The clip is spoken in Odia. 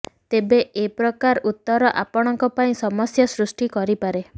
ତେବେ ଏପ୍ରକାର ଉତ୍ତର ଆପଣଙ୍କ ପାଇଁ ସମସ୍ୟା ସୃଷ୍ଟି କରିପାରେ